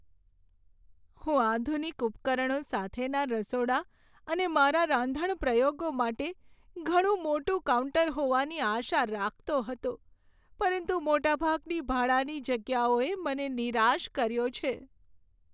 હું આધુનિક ઉપકરણો સાથેના રસોડા અને મારા રાંધણ પ્રયોગો માટે ઘણી મોટું કાઉન્ટર હોવાની આશા રાખતો હતો, પરંતુ મોટાભાગની ભાડાની જગ્યાઓએ મને નિરાશ કર્યો છે.